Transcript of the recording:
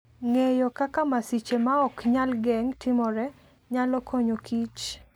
Ng'eyo kaka masiche ma ok nyal geng' timore, nyalo konyo Kich.